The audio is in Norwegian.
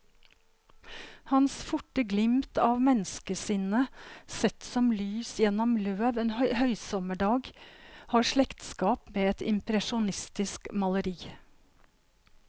Hans forte glimt av menneskesinnet, sett som lys gjennom løv en høysommerdag, har slektskap med et impresjonistisk maleri.